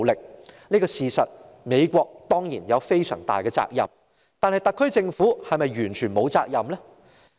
對於這事實，美國當然有非常大的責任，但特區政府是否完全沒有責任呢？